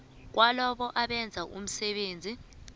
kwalabo abenza umsebenzi